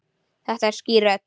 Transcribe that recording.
Þetta er skýr rödd.